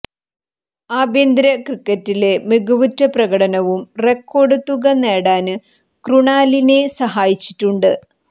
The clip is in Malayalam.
ആഭ്യന്തര ക്രിക്കറ്റില് മികവുറ്റ പ്രകടനവും റെക്കോര്ഡ് തുക നേടാന് ക്രുണാലിനെ സഹായിച്ചിട്ടുണ്ട്